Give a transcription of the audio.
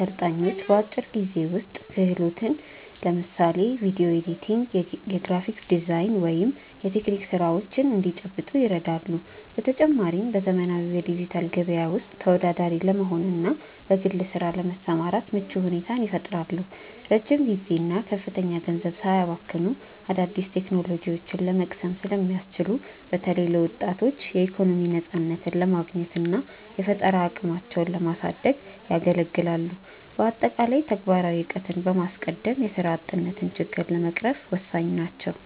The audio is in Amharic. ሰልጣኞች በአጭር ጊዜ ውስጥ ተፈላጊ ክህሎትን (ለምሳሌ ቪዲዮ ኤዲቲንግ፣ የግራፊክ ዲዛይን ወይም የቴክኒክ ስራዎች) እንዲጨብጡ ይረዳሉ። በተጨማሪም፣ በዘመናዊው የዲጂታል ገበያ ውስጥ ተወዳዳሪ ለመሆንና በግል ስራ ለመሰማራት ምቹ ሁኔታን ይፈጥራሉ። ረጅም ጊዜና ከፍተኛ ገንዘብ ሳያባክኑ አዳዲስ ቴክኖሎጂዎችን ለመቅሰም ስለሚያስችሉ፣ በተለይ ለወጣቶች የኢኮኖሚ ነፃነትን ለማግኘትና የፈጠራ አቅማቸውን ለማሳደግ ያገለግላሉ። በአጠቃላይ፣ ተግባራዊ እውቀትን በማስቀደም የስራ አጥነትን ችግር ለመቅረፍ ወሳኝ ናቸው።